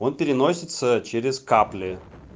он переносится через капли